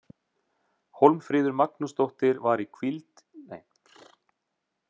Hólmfríður Magnúsdóttir var hvíld í dag og því ekki í leikmannahópnum.